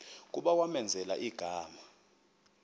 kuba kwamenzela igama